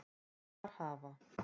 Þar hafa